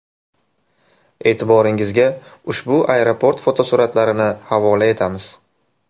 E’tiboringizga ushbu aeroport fotosuratlarini havola etamiz.